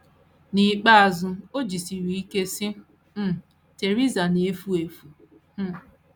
N’ikpeazụ, o jisiri ike sị: “ um Theresa na - efu efu! ” um